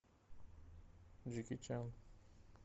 джеки чан